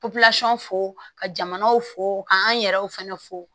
fo ka jamanaw fo ka an yɛrɛw fɛnɛ fo